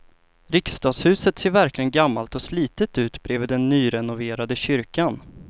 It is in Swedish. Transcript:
Riksdagshuset ser verkligen gammalt och slitet ut bredvid den nyrenoverade kyrkan.